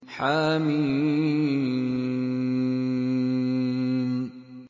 حم